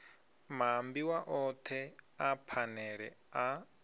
maambiwa othe a phanele a